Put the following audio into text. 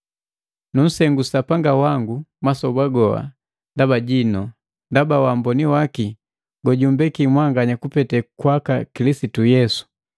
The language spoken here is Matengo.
Nusengu Sapanga wangu masoba goha ndaba jinu, ndaba ja wamboni waki gojumpeki mwanganya kupete kwaka Kilisitu Yesu.